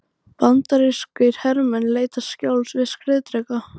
Bandarískir hermenn leita skjóls við skriðdreka.